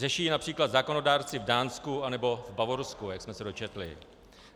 Řeší ji například zákonodárci v Dánsku anebo v Bavorsku, jak jsme se dočetli.